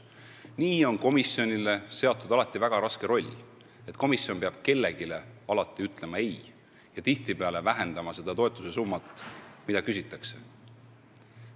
Nii on komisjonile seatud alati väga raske roll: komisjon peab kellelegi alati ütlema "ei" ja tihtipeale vähendama toetusesummat, mida küsitakse.